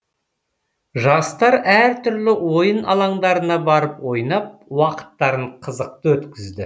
жастар әр түрлі ойын алаңдарына барып ойнап уақыттарын қызықты өткізді